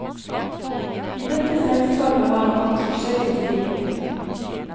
I dette selskapet har han hatt forskjellig stillinger.